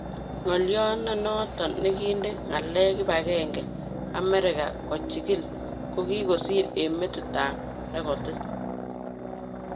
Ngolyot nenoton nikide ngalek kibagenge"America kochikili"kokikosir eng metit tab rekodit.